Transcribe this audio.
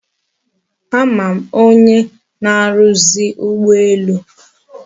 A ma m onye na-aruzi ugboelu